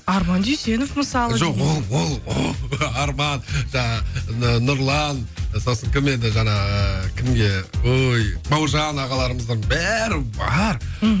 арман дүйсенов мысалы жоқ ол ол ол арман жаңағы нұрлан сосын кім еді жаңағы кімге ой бауыржан ағаларымызға бәрі бар мхм